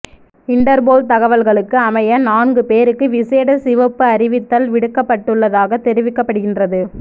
Interpol தகவல்களுக்கு அமைய நான்கு பேருக்கு விசேட சிவப்பு அறிவித்தல் விடுக்கப்பட்டுள்ளதாக தெரிவிக்கப்படுகின்றது